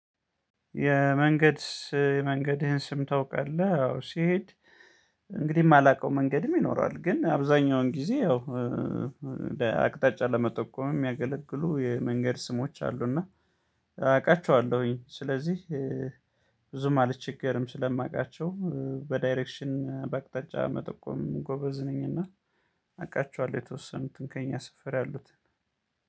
የመንገድ የመንገድህን ስም ታውቃለህ? አዎ ስሄድ እንግዲህ የማላውቀው መንገድም ይኖራል። ግን አብዛኛውን ጊዜ ያው አቅጣጫ ለመጠቆም የሚያገለግሉ የመንገድ ስሞች አሉ እና አቃቸዋለሁኝ ስለዚህ ብዙም አልቸገርም ስለማውቃቸው በዳይሬክሽንም በአቅጣጫ መጠቆምም ጎበዝ ነኝና አቃቸዋለሁ የተወሰኑትን ከእኛ ሰፈር ያሉትን።